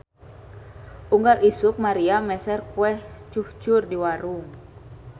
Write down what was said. Unggal isuk Maria meser kueh cuhcur di warung